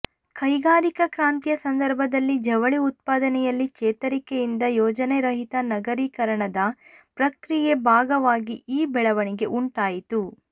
ಕೈಗಾರಿಕಾ ಕ್ರಾಂತಿಯ ಸಂದರ್ಭದಲ್ಲಿ ಜವಳಿ ಉತ್ಪಾದನೆಯಲ್ಲಿ ಚೇತರಿಕೆಯಿಂದ ಯೋಜನೆರಹಿತ ನಗರೀಕರಣದ ಪ್ರಕ್ರಿಯೆ ಭಾಗವಾಗಿ ಈ ಬೆಳವಣಿಗೆ ಉಂಟಾಯಿತು